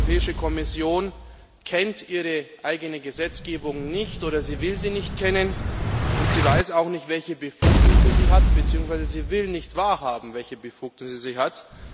Die Europäische Kommission kennt ihre eigene Gesetzgebung nicht oder will sie nicht kennen, und sie weiß auch nicht, welche Befugnisse sie hat, beziehungsweise sie will nicht wahrhaben, welche Befugnisse sie hat.